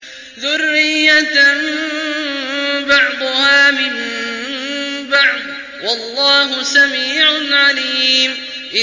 ذُرِّيَّةً بَعْضُهَا مِن بَعْضٍ ۗ وَاللَّهُ سَمِيعٌ عَلِيمٌ